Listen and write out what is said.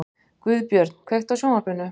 Guðbjörn, kveiktu á sjónvarpinu.